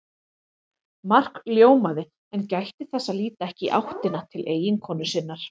Mark ljómaði en gætti þess að líta ekki í áttina til eiginkonu sinnar.